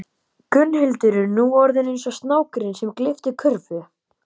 Gunnhildur er nú orðin eins og snákurinn sem gleypti körfu